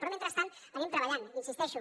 però mentrestant anem treballant hi insisteixo